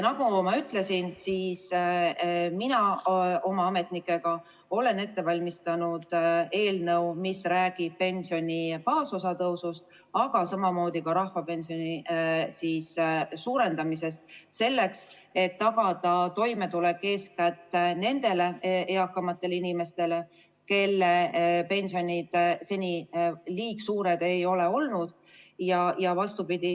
Nagu ma ütlesin, mina oma ametnikega olen ette valmistanud eelnõu, mis räägib pensioni baasosa tõusust, aga ka rahvapensioni suurendamisest, selleks et tagada toimetulek eeskätt nendele eakamatele inimestele, kelle pension seni liigsuur ei ole olnud.